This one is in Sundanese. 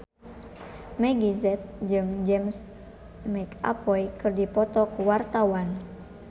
Meggie Z jeung James McAvoy keur dipoto ku wartawan